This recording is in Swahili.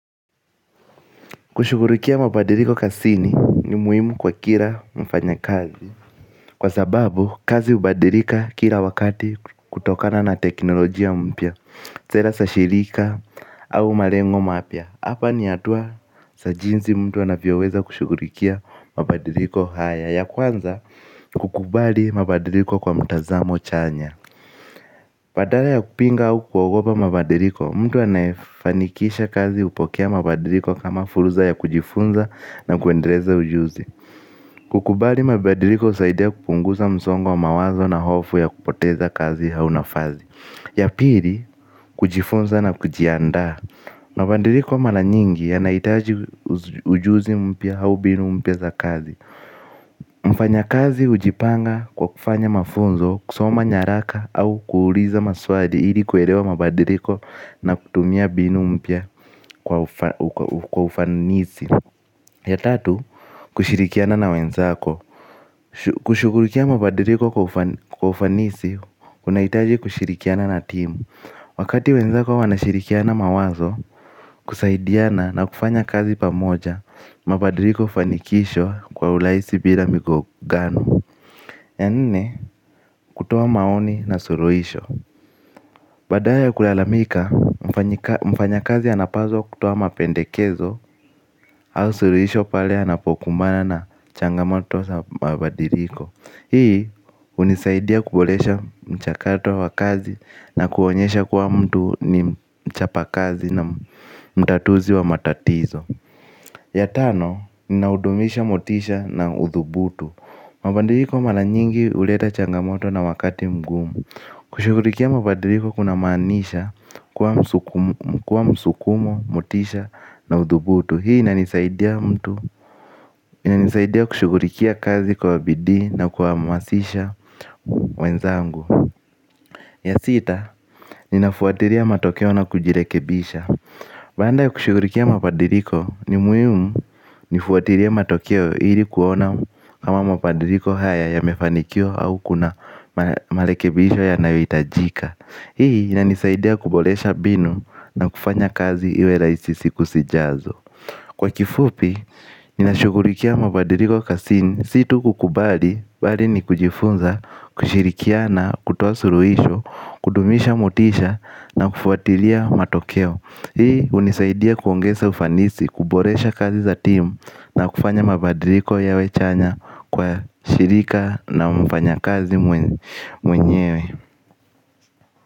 Kushughulikia mabadiliko kazini ni muhimu kwa kila mfanya kazi. Kwa sababu kazi hubadilika kila wakati kutokana na teknolojia mpya. Sera za shirika au malengo mapya hapa ni hatua za jinsi mtu anavyoweza kushughulikia mabadiliko haya. Ya kwanza kukubali mabadiliko kwa mtazamo chanya badala ya kupinga au kuogopa mabadiliko mtu anaefanikisha kazi hupokea mabadiliko kama fursa ya kujifunza na kuendeleza ujuzi. Kukubali mabadiliko husaidia kupunguza msongo wa mawazo na hofu ya kupoteza kazi h au nafasi. Ya pili, kujifunza na kujiandaa mabadiliko mara nyingi yanahitaji ujuzi mpya au mbinu mpya za kazi. Mfanya kazi hujipanga kwa kufanya mafunzo, kusoma nyaraka au kuuliza maswali ili kuelewa mabadiliko na kutumia mbinu mpya kwa ufanisi. Ya tatu, kushirikiana na wenzako kushughulikia mabadiliko kwa ufanisi, unahitaji kushirikiana na team. Wakati wenzako wanashirikiana mawazo, kusaidiana na kufanya kazi pamoja. Mabadiliko hufanikishwa kwa urahisi bila migongano. Ya nne, kutoa maoni na suluhisho badala ya kulalamika, mfanyi kazi anapaswa kutoa mapendekezo au suluhisho pake anapokumbana na changamoto za mabadiliko hii hunisaidia kuboreaha mchakato wa kazi na kuonesha kuwa mtu ni mchapakazi na mtatuzi wa matatizo ya tano ninahudumiaha motisha na udhubutu. Mabadiliko mara nyingi huleta changamoto na wakati mgumu. Kushughulikia mbadiliko kunamaanisha kuwa msukumo, motisha na udhubutu. Hii inanisaidia mtu, inanisaidia kushughulikia kazi kwa bidii na kuwahamasisha wenzangu. Ya sita, ninafuatilia matokeo na kujirekebisha baada ya kushughulikia mabadiliko ni muiumu nifuatilie matokeo ili kuona kama mabadiliko haya yamefanikiwa au kuna marekebisho yanayohitajika. Hii inanisaidia kuboresha mbinu na kufanya kazi iwe rahisi siku zijazo. Kwa kifupi, nina shugurikia mabadiriko kasini. Situ kukubali, bari ni kujifunza, kushirikia na kutuasuruhisho kudumisha mutisha na kufuatilia matokeo. Hii unisaidia kuongeza ufanisi, kubolesha kazi za timu na kufanya mabadiliko yawe chanya kwa shirika na mfanya kazi mwenyewe.